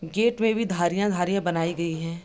gate में भी धारियाँ-धारियाँ बनाई गई हैं |